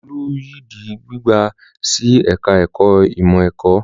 Olú yìí di gbígbà sí ẹ̀ka-ẹ̀kọ́ ìmọ̀-ẹ̀kọ́.